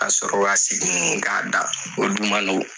Ka sɔrɔ k'a da o dun man nɔgɔn.